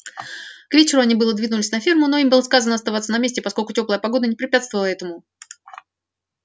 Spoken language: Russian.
к вечеру они было двинулись на ферму но им было сказано оставаться на месте поскольку тёплая погода не препятствовала этому